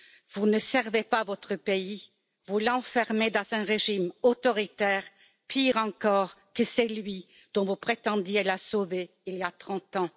Vous ne servez pas votre pays, vous l'enfermez dans un régime autoritaire, pire encore que celui dont vous prétendiez le sauver il y a 30 ans.